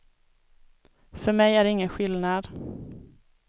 För mig är det ingen skillnad.